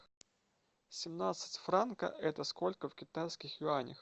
семнадцать франков это сколько в китайских юанях